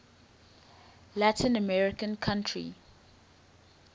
latin american country